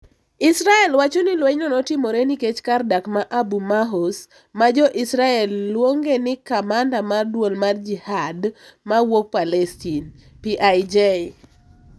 Israel wachoni lwenyno notimore nikech kar dak ma Abu Maihous, ma jo Israel luonge ni kamanda mar duol mar Jihad mawuok Palestin. (PIJ)